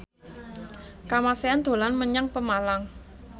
Kamasean dolan menyang Pemalang